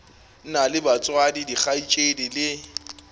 na le batswadi dikgaetšedi le